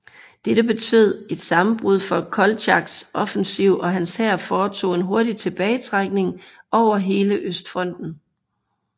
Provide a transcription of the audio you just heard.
Dette betød et sammenbrud for Koltjaks offensiv og hans hær foretog en hurtig tilbagetrækning over hele østfronten